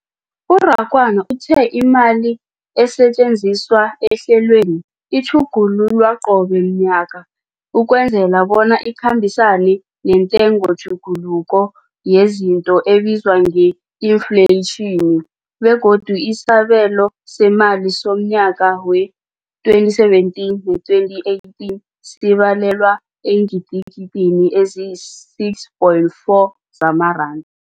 U-Rakwena uthe imali esetjenziswa ehlelweneli ikhutjhulwa qobe ngomnyaka ukwenzela bona ikhambisane nentengotjhuguluko yezinto ebizwa nge-infleyitjhini, begodu isabelo seemali somnyaka we-2017 we-2018 sibalelwa eengidigidini ezisi-6.4 zamaranda.